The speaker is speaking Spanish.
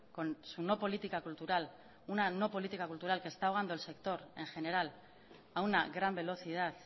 con su no política cultural una no política cultural que está ahogando el sector en general a una gran velocidad